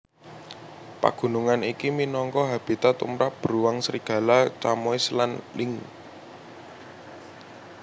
Pagunungan iki minangka habitat tumrap bruang serigala chamois lan lynx